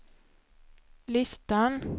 listan